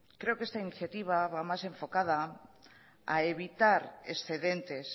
creo que esta iniciativa va más enfocada a evitar excedentes